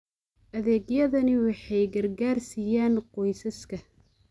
Adeegyadani waxay gargaar siiyaan qoysaska.